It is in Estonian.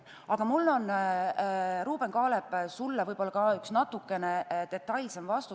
Aga mul on, Ruuben Kaalep, sulle ka võib-olla natuke detailsem vastus.